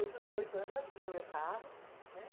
Eu com dezoito anos já tinha meu carro, né?